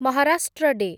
Maharashtra day